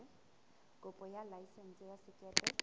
kopo ya laesense ya sekepe